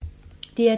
DR2